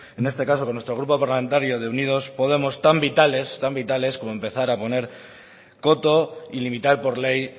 en este caso con nuestro grupo parlamentario de unidos podemos tan vitales como empezar a poner coto y limitar por ley